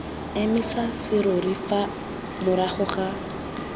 emisa serori fa morago ga